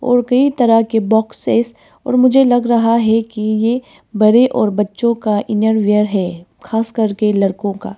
और कई तरह के बॉक्सेस और मुझे लग रहा है कि ये बड़े और बच्चों का इनरवियर है खास करके लड़कों का।